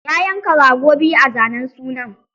Ya yanka rago biyu a zanen sunan